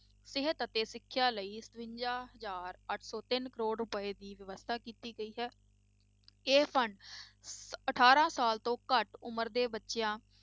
ਸਿਹਤ ਅਤੇ ਸਿੱਖਿਆ ਲਈ ਸਤਵੰਜਾ ਹਜ਼ਾਰ ਅੱਠ ਸੌ ਤਿੰਨ ਕਰੌੜ ਰੁਪਏ ਦੀ ਵਿਵਸਥਾ ਕੀਤੀ ਗਈ ਹੈ ਇਹ ਫੰਡ ਅਠਾਰਾਂ ਸਾਲ ਤੋਂ ਘੱਟ ਉਮਰ ਦੇ ਬੱਚਿਆਂ